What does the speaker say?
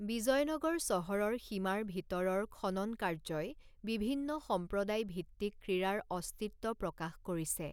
বিজয়নগৰ চহৰৰ সীমাৰ ভিতৰৰ খননকাৰ্যই বিভিন্ন সম্প্ৰদায়ভিত্তিক ক্ৰীড়াৰ অস্তিত্ব প্ৰকাশ কৰিছে।